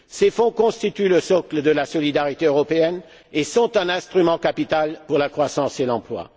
Ces fonds constituent le socle de la solidarité européenne et sont un instrument capital pour la croissance et l'emploi.